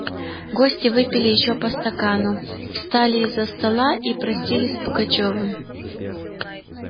гости выпили ещё по стакану встали из-за стола и простились с пугачёвым